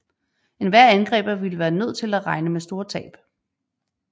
Enhver angriber ville være nødt til at regne med store tab